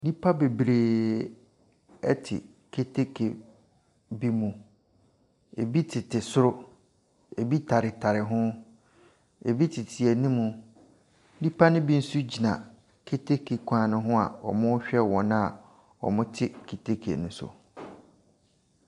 Nnipa bebree ɛte keteke bi mu. Ebi tete soro, ebi taretare ho, ebi tete ɛnimmu, nnipa no bi nso gyina keteke kwan no ho a wɔrehwɛ wɔn a wɔte keteke no so.